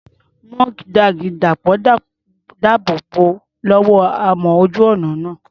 Mudguard Dàpọ̀ dáàbò bò ó lọ́wọ́ amọ̀ ojú ọ̀nà náà.